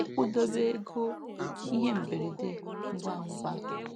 ịkwụdobe ego ihe mberede ngwangwa.